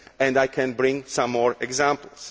I can bring some more examples.